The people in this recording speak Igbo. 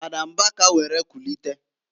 Fada Mbaka were kulite.